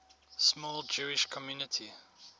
small jewish community